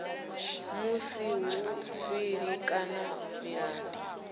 vhu si havhuḓi kana milandu